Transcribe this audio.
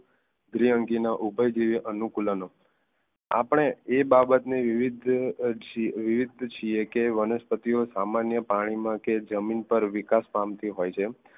દ્રીઅંગી ના ઉભયજીવી અનુકૂલન આપણે એ બાબતને વિવિધ વિવિધ છીએ કે વનસ્પતિઓ સામાન્ય પાણીમાં કે જમીન પર વિકાસ પામતી હોય છે